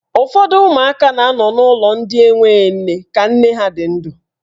Ụfọdụ ụmụaka na anọ n'ulọ ndị enwe nne ka nne ha nọ ndụ.